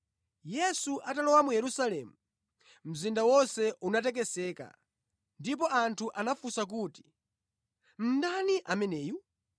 Yesu atalowa mu Yerusalemu, mzinda wonse unatekeseka ndipo anthu anafunsa kuti, “Ndani ameneyu?”